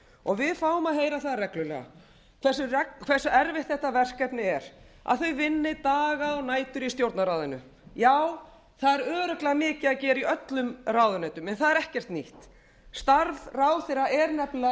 og við fáum að gera það reglulega hversu erfitt þetta verkefni er að þau vinni daga og nætur í stjórnarráðinu já það er örugglega mikið að gera í öllum ráðuneytum en það er ekkert nýtt starf ráðherra er nefnilega